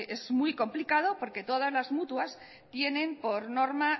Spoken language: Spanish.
es muy complicado porque todas las mutuas tienen por norma